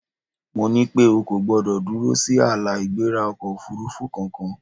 Mo ní pé O kò gbọdọ̀ dúró sí ààlà-ìgbéra ọkọ̀-òfurufú kankan!